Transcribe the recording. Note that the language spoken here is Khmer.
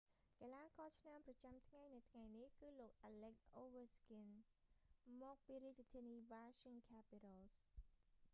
កីឡាករឆ្នើមប្រចាំថ្ងៃនៅថ្ងៃនេះ គឺលោក អាឡិច អូវេឈ្កីន alex ovechkin មកពីរាជធានី washing capitals